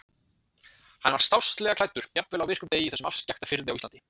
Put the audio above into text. Hann var stásslega klæddur, jafnvel á virkum degi í þessum afskekkta firði á Íslandi.